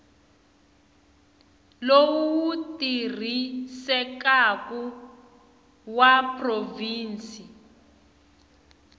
lowu wu tirhisekaku wa provhinsi